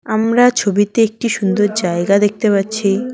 আমরা ছবিতে একটি সুন্দর জায়গা দেখতে পাচ্ছি।